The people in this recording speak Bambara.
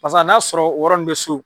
Pasa n'a sɔrɔ o yɔrɔ nun bɛ so.